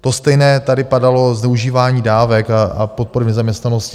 To stejné tady padalo - zneužívání dávek a podpor v nezaměstnanosti.